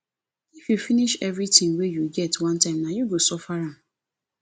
if you finish everything wey you get one time nah you go suffer am